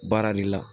Baara de la